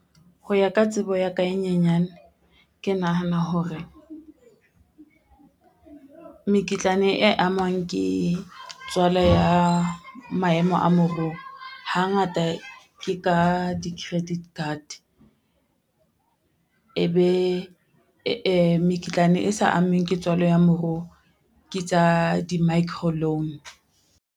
Ho ya ka tsebo ya ka e nyenyane ke nahana hore, mekitlane e amwang ke tswala ya maemo a moruo hangata ke ka di-credit card. E be mekitlane e sa ameheng ke tswalo ya moruo ke tsa di-micro loan.